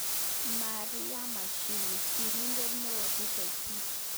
Maria Mashingo. Sirindet neooDkt